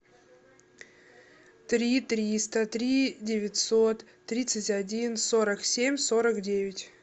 три триста три девятьсот тридцать один сорок семь сорок девять